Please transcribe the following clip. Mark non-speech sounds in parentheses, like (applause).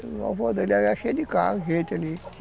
O avó dele era cheio de casas (unintelligible) ali